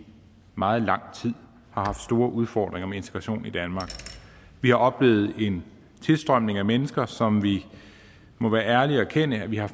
meget lang tid har haft store udfordringer med integration i danmark vi har oplevet en tilstrømning af mennesker som vi må være ærlige at erkende at vi har